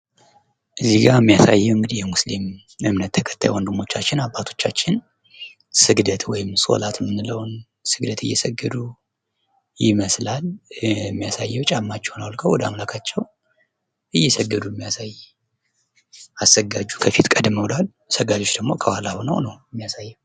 እዚህ ጋ የሚያሳየው እንግዲህ ሙስሊም እምነት ተከታዮች ወንድሞቻችን ፣ አባቶቻችን ስግደት ወይም ሶላት የምንለውን ነው። ስግደት እየሰገዱ ይመስላል። የሚያሳየው ጫማቸውን አወልቀው እየሰገዱ የሚያሳይ አሰጋጁ ከፊት ቀደም ብሏል። ሰጋጂ ደግሞ ከኋላ ሁነው ነው የሚያሳየን።